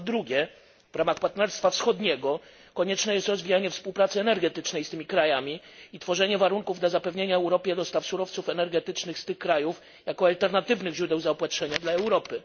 Po drugie, w ramach partnerstwa wschodniego konieczne jest rozwijanie współpracy energetycznej z tymi krajami i tworzenie warunków dla zapewniania Europie dostaw surowców energetycznych z tych krajów, jako alternatywnych źródeł zaopatrzenia dla Europy.